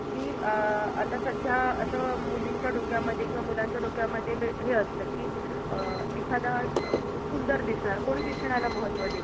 कि अं आता सध्या असं मुलींच्या डोक्यामध्ये किंवा मुलांच्या डोक्यामध्ये हे असत कि अं एखाद्या सुंदर दिसणार कोणी दिसण्याला महत्व देत